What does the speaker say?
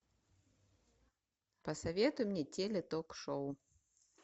посоветуй мне теле ток шоу